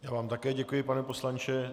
Já vám také děkuji, pane poslanče.